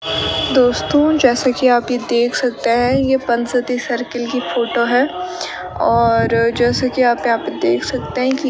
दोस्तों जैसा कि आप ये देख सकते हैं ये पंच सती सर्किल कि फोटो है और जैसे कि आप यहां पे देख सकते हैं की --